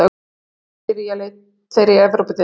Núna fóru þeir í Evrópudeildina.